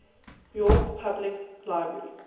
york public library